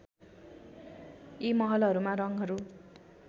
यी महलहरूमा रङहरू